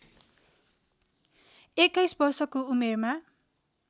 २१ वर्षको उमेरमा